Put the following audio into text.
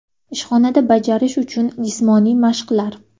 Ishxonada bajarish uchun jismoniy mashqlar .